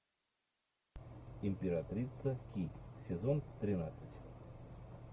императрица ки сезон тринадцать